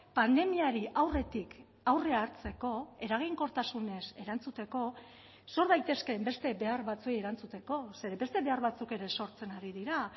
pandemiari aurretik aurrea hartzeko eraginkortasunez erantzuteko sor daitezkeen beste behar batzuei erantzuteko ze beste behar batzuk ere sortzen ari dira